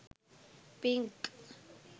pink